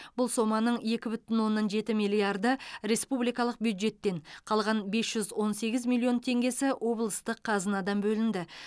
бұл соманың екі бүтін оннан жеті миллиарды республикалық бюджеттен қалған бес жүз он сегіз миллион теңге облыстық қазынадан бөлінді